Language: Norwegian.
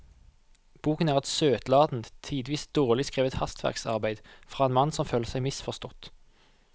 Boken er et søtladent, tidvis dårlig skrevet hastverksarbeid fra en mann som føler seg misforstått.